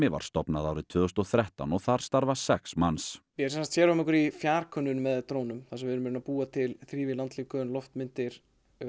var stofnað árið tvö þúsund og þrettán og þar starfa sex manns við sérhæfum okkur í fjarkönnun með drónum þar sem við erum að búa til þrívíð loftlíkön loftmyndir